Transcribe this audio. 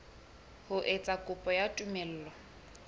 ho etsa kopo ya tumello